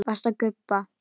Varstu að gubba?